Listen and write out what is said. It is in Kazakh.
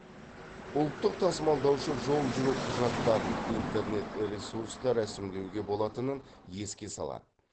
ұлттық тасымалдаушы жол жүру құжаттарын интернет ресурста ресімдеуге болатынын еске салады